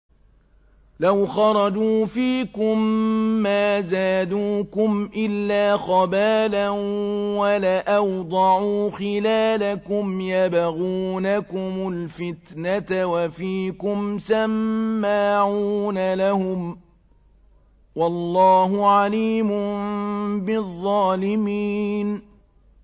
لَوْ خَرَجُوا فِيكُم مَّا زَادُوكُمْ إِلَّا خَبَالًا وَلَأَوْضَعُوا خِلَالَكُمْ يَبْغُونَكُمُ الْفِتْنَةَ وَفِيكُمْ سَمَّاعُونَ لَهُمْ ۗ وَاللَّهُ عَلِيمٌ بِالظَّالِمِينَ